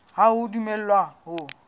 ha o a dumellwa ho